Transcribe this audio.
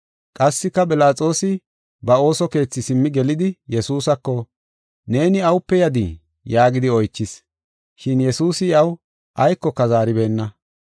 Qassika Philaxoosi ba ooso keethi simmi gelidi Yesuusako, “Neeni awupe yadii?” yaagidi oychis. Shin Yesuusi iyaw aykoka zaaribeenna.